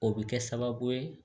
O bɛ kɛ sababu ye